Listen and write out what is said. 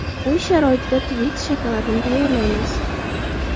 Uy sharoitida Twix shokoladini tayyorlaymiz.